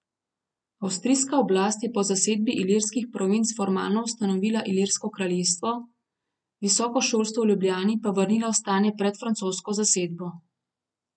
Avstrijska oblast je po zasedbi Ilirskih provinc formalno ustanovila Ilirsko kraljestvo, visoko šolstvo v Ljubljani pa vrnila v stanje pred francosko zasedbo.